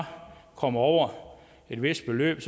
kommer over et vist beløb